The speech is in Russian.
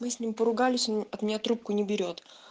мы с ним поругались он от меня трубку не берёт